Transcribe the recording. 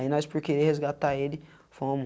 Aí, nós por querer resgatar ele, fomo.